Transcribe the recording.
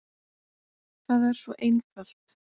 Það er svo einfalt.